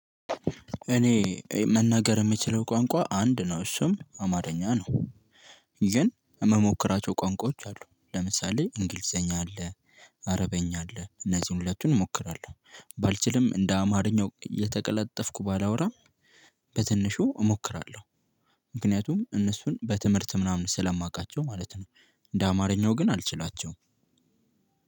እኔ መናገር የምችለው ቋንቋ አንድ ነው እሱም አማርኛ ነው። ግን የምሞክራቸው ቋንቋዎች አሉ ለምሳሌ እንግሊዘኛ አለ አረበኛ አለ እነዚህን ሁለቱን እሞክራለሁ። ባልችልም እንደ አማርኛው እየተቀላጠፍኩ ባላወራም በትንሹ እሞክራለሁ። ምክንያቱም እነሱን በትምህርት ምናምን ስላማቃቸው ማለት ነው። እንደ አማርኛው ግን አልችላቸውም።